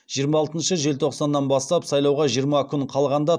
жиырма алтыншы желтоқсаннан бастап сайлауға жиырма күн қалғанда